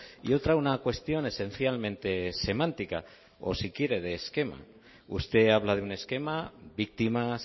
y otra una cuestión esencialmente semántica o si quiere de esquema usted habla de un esquema víctimas